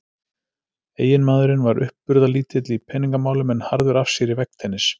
Eiginmaðurinn var uppburðalítill í peningamálum en harður af sér í veggtennis.